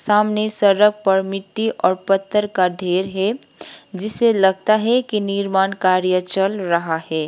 सामने सड़क पर मिट्टी और पत्थर का ढेर है जिसे लगता है कि निर्माण कार्य चल रहा है।